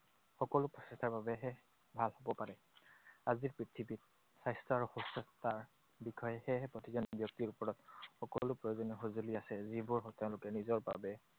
সকলো প্ৰচেষ্টাৰ বাবেহে ভাল হব পাৰে। আজিৰ পৃথিৱীত স্বাস্থ্য আৰু সুস্থতাৰ বিষয়হে সেয়েহে প্ৰতিজন ব্যক্তিৰ ওপৰত সকলো প্ৰয়োজনীয় সঁজুলি আছে, যিবোৰ তেওঁলোকে নিজৰ বাবে